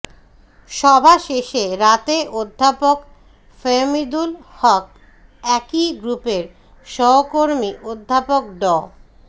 সভা শেষে রাতে অধ্যাপক ফাহমিদুল হক একই গ্রুপের সহকর্মী অধ্যাপক ড